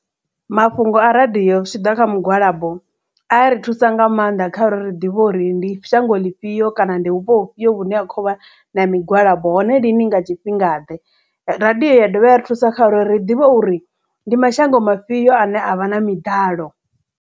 Mafhungo a radio zwi tshi ḓa kha migwalabo a ri thusa nga maanḓa kha uri ri ḓivhe uri ndi shango ḽifhio kana ndi vhupo hu fhio vhune ha khovha na migwalabo hone lini nga tshifhinga ḓe radio ya dovha ya ri thusa kha uri ri ḓivhe uri ndi mashango mafhiyo ane avha na miḓalo.